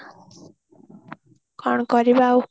କଣ କରିବା ଆଉ